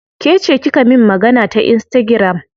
Kece kika min magana ta insitagiram?